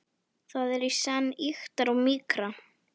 Það er í senn ýktara og mýkra.